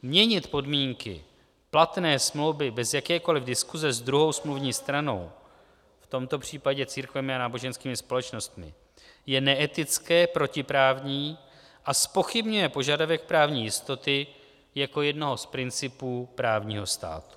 Měnit podmínky platné smlouvy bez jakékoliv diskuse s druhou smluvní stranou, v tomto případě církvemi a náboženskými společnostmi, je neetické, protiprávní a zpochybňuje požadavek právní jistoty jako jednoho z principů právního státu.